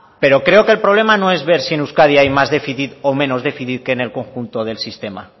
pero creo que el problema no es ver si en euskadi hay más déficit o menos déficit que en el conjunto el sistema